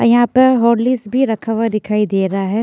यहां पर हॉर्लिक्स भी रखा हुआ दिखाई दे रहा है।